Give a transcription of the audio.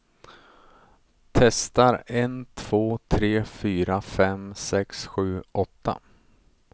Testar en två tre fyra fem sex sju åtta.